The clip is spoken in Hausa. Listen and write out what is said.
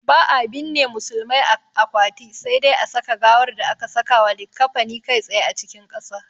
Ba'a binne musulmai a akwati, sai dai a saka gawar da aka sakawa likkafani kai tsaye cikin ƙasa.